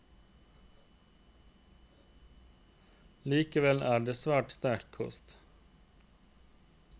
Likevel er det svært sterk kost.